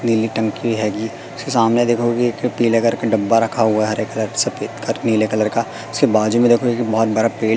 नीली टंकी है गी उसके सामने देखो एक पीले कलर का डब्बा रखा हुआ है हरे कलर सफेद कलर नीले कलर का उसके बाजू मे देखो एक बहोत बड़ा पेड़--